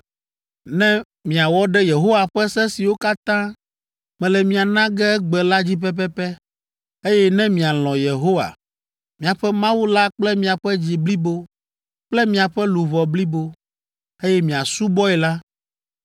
“Ne miawɔ ɖe Yehowa ƒe se siwo katã mele mia na ge egbe la dzi pɛpɛpɛ, eye ne mialɔ̃ Yehowa, miaƒe Mawu la kple miaƒe dzi blibo kple miaƒe luʋɔ blibo, eye miasubɔe la,